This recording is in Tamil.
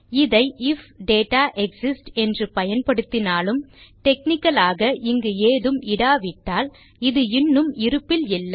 இதை ஐஎஃப் டேட்டா எக்ஸிஸ்ட்ஸ் என்று பயன்படுத்தினாலும் டெக்னிக்கல் ஆக இங்கு ஏதும் இடாவிட்டால் இது இன்னும் இருப்பில் இல்லை